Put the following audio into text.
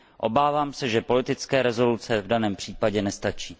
Obávám se, že politické rezoluce v daném případě nestačí.